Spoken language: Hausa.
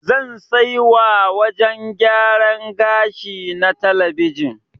Zan sai wa wajen gyaran gashi na talabijin.